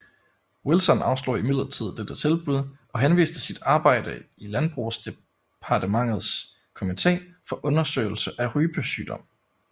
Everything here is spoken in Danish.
Wilson afslog imidlertid dette tilbud og henviste til sit arbejde i landbrugsdepartementets komite for undersøgelse af rypesygdom